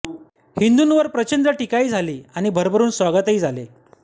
हिंदूवर प्रचंड टीकाही झाली आणि भरभरून स्वागतही झाले